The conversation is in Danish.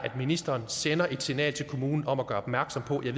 ministeren sender et signal til kommunerne om at gøre opmærksom på det